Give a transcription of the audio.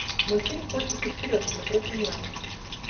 мультфильм котики вперед смотреть онлайн